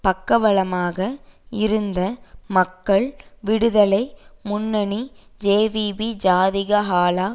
பக்கபலமாக இருந்த மக்கள் விடுதலை முன்னணி ஜேவிபி ஜாதிக ஹெல